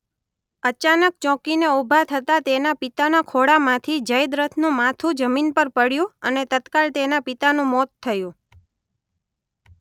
અચાનક ચોંકીને ઉભા થતાં તેના પિતાના ખોળામાંથી જયદ્રથનું માથું જમીન પર પડ્યું અને તત્કાળ તેના પિતાનું મોત થયું.